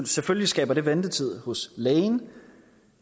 selvfølgelig skaber det ventetid hos lægen